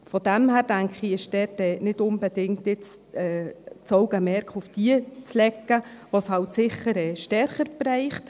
Daher denke ich, dass dort das Augenmerk jetzt nicht unbedingt auf jene zu legen ist, die es halt sicher stärker trifft.